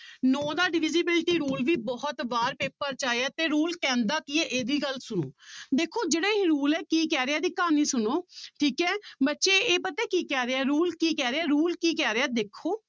ਨੋਂ ਦਾ divisibility rule ਵੀ ਬਹੁਤ ਵਾਰ ਪੇਪਰ 'ਚ ਆਇਆ ਹੈ ਤੇ rule ਕਹਿੰਦਾ ਕੀ ਹੈ ਇਹ ਵੀ ਗੱਲ ਸੁਣੋ ਦੇਖੋ ਜਿਹੜਾ ਇਹ rule ਹੈ ਕੀ ਕਹਿ ਰਿਹਾ ਇਹਦੀ ਕਹਾਣੀ ਸੁਣੋ ਠੀਕ ਹੈ ਬੱਚੇ ਇਹ ਪਤਾ ਕੀ ਕਹਿ ਰਿਹਾ ਹੈ rule ਕੀ ਕਹਿ ਰਿਹਾ ਹੈ rule ਕੀ ਕਹਿ ਰਿਹਾ ਹੈ ਦੇਖੋ